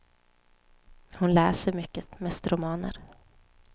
Hon läser mycket, mest romaner.